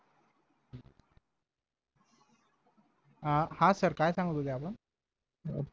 अं हा सर काय सांगत होते आपण